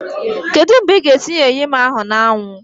Kedu mgbe ị ga-etinye eyim ahu na awu?